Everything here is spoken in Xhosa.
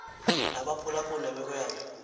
nabaphulaphuli nemeko yabo